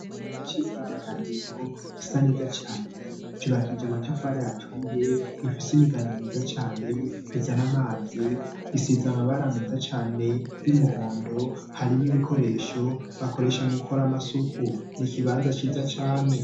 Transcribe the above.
Ikibanza c'imyidaganuro gisa neza cane cubakije amatafare aturiye gifise imigano myiza cane gizana amazi gisiza amabara meza cane y'umuhondo harimo ibikoresho bakoresha mu kor amasuku niikibanza ciza cane.